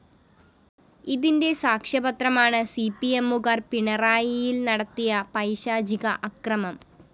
ഇതിന്റെ സാക്ഷ്യപത്രമാണ് സിപിഎമ്മുകാര്‍ പിണറായിയില്‍ നടത്തിയ പൈശാചിക അക്രമം